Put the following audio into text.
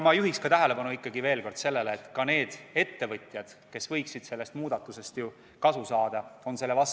Ma juhiks tähelepanu veel kord sellele, et ka need ettevõtjad, kes võiksid sellest muudatusest kasu saada, on selle vastu.